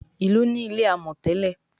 Ilú ní ilé amò tèlé.